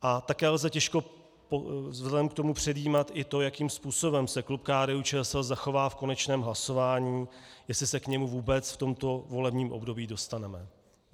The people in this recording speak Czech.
A také lze těžko vzhledem k tomu předjímat i to, jakým způsobem se klub KDU-ČSL zachová v konečném hlasování, jestli se k němu vůbec v tomto volebním období dostaneme.